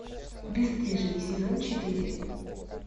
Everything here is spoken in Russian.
бесстыжие сезон четыре